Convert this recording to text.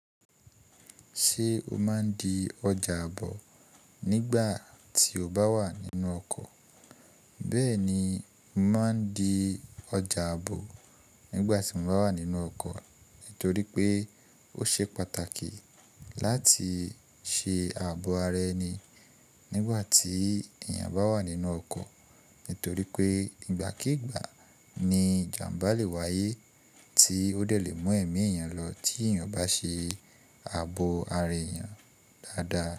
Ṣé o máa ń di ọjà ààbò nígbà tí o bá wà nínú ọkọ̀? Bẹ́ẹ̀ni, mo máa ń di ọjà ààbò nígbà tí mo bá wà nínú ọkọ̀ nítorí pé ó ṣe pàtàkì láti ṣe ààbò ara ẹni nígbà tí èèyàn bá wà nínú ọkọ̀. Nítorí pé ìgbàkígbà ni ìjàmbá le wáyé tí ó dẹ̀ le mú ẹ̀mí èèyàn lọ tí èèyàn bá ṣe ààbò ara èèyàn dáadáa.